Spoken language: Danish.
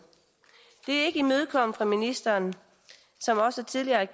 det er ikke imødekommet af ministeren som også tidligere i